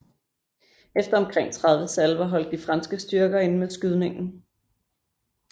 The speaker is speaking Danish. Efter omkring 30 salver holdt de franske styrker inde med skydningen